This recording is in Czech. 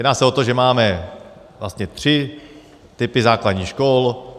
Jedná se o to, že máme vlastně tři typy základních škol.